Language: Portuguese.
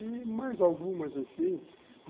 E mais algumas assim.